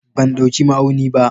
Ban dauki ma'auni ba.